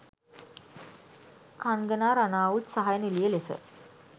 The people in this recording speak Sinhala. කන්ගනා රනාවුට් සහය නිළිය ලෙස